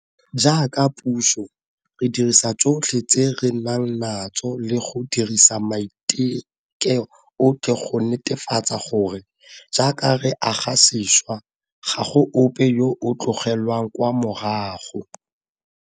Jaaka puso, re dirisa tsotlhe tse re nang natso le go dirisa maiteko otlhe go netefatsa gore, jaaka re aga sešwa, ga go ope yo o tlogelwang kwa morago.